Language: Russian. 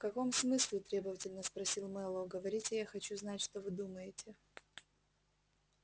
в каком смысле требовательно спросил мэллоу говорите я хочу знать что вы думаете